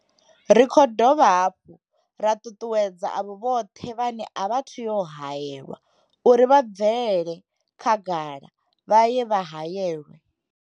Ri khou dovha hafhu ra ṱuṱuwedza avho vhoṱhe vhane a vha athu u haelwa uri vha bvele khagala vha ye vha haelwe.